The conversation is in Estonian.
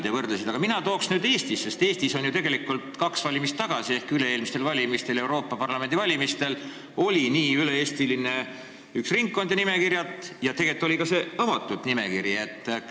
Mina toon nüüd näiteks Eesti, sest Eestis oli ju tegelikult kahed valimised tagasi ehk üle-eelmistel valimistel, Euroopa Parlamendi valimistel üks üle-eestiline ringkond ja nimekiri ning tegelikult oli ka see avatud nimekiri.